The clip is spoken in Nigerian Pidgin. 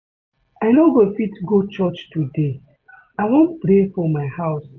I no go fit go church today. I wan pray for my house.